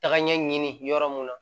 Tagaɲɛ ɲini yɔrɔ mun na